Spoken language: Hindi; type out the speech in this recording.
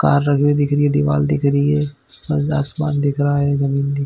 --कार राखी हुई दिख रही है दीवाल दिख रही है मज आसमान दिख रहा है जमीन दिख--